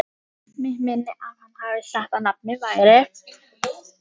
Mig minnir að hann hafi sagt að nafnið væri